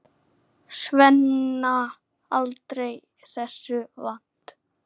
Svenna, aldrei þessu vant.